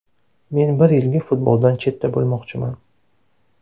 Men bir yilga futboldan chetda bo‘lmoqchiman.